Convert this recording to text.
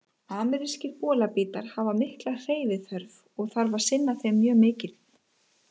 Amerískir bolabítar hafa mikla hreyfiþörf og þarf að sinna þeim mjög mikið.